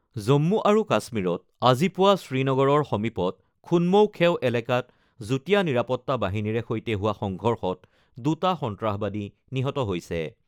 জম্মু আৰু কাশ্মীৰত আজি পুৱা শ্ৰীনগৰৰ সমীপত খুনমৌ খেও এলেকাত যুটীয়া নিৰাপত্তা বাহিনীৰে সৈতে হোৱা সংঘৰ্ষত দুটা সন্ত্ৰাসবাদী নিহত হৈছে।